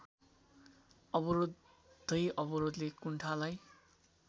अवरोधै अवरोधले कुण्ठालाई